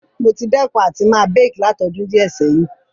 Mo ti dẹ́kun àti ma bake látodún díẹ̀ sẹ̀hin